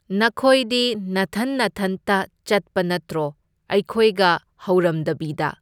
ꯅꯈꯣꯏꯗꯤ ꯅꯊꯟ ꯅꯊꯟꯇ ꯆꯠꯄ ꯅꯠꯇ꯭ꯔꯣ, ꯑꯩꯈꯣꯏꯒ ꯍꯧꯔꯝꯗꯕꯤꯗ꯫